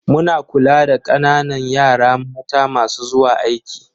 Muna kula da ƙananan yaran mata masu zuwa aiki.